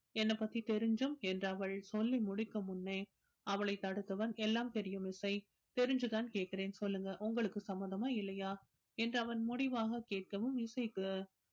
என்னை பத்தி தெரிஞ்சும் என்று அவள் சொல்லி முடிக்கும் முன்னே அவளைத் தடுத்தவன் எல்லாம் தெரியும் இசை தெரிஞ்சுதான் கேட்கிறேன் சொல்லுங்க உங்களுக்கு சம்மதமா இல்லையா என்று அவன் முடிவாக கேட்கவும் இசைக்கு